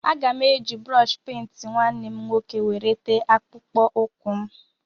Aga m eji brọshi pent nwanne m nwoke were tee akpụkpọ ụkwụ m.